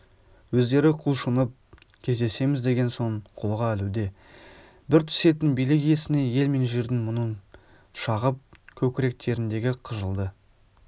өздері құлшынып кездесеміз деген соң қолға ілуде бір түсетін билік иесіне ел мен жердің мұңын шағып көкіректеріндегі қыжылды